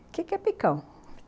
Que que é picão?